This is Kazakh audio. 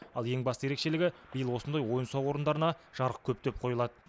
ал ең басты ерекшелігі биыл осындай ойын сауық орындарына жарық көптеп қойылады